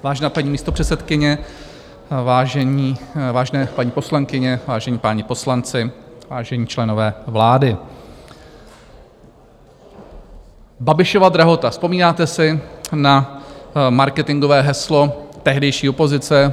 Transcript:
Vážená paní místopředsedkyně, vážené paní poslankyně, vážení páni poslanci, vážení členové vlády, Babišova drahota - vzpomínáte si na marketingové heslo tehdejší opozice?